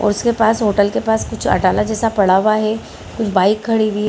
और उसके पास होटल के पास कुछ अटाला जैसा पड़ा हुआ है कुछ बाइक खड़ी हुई --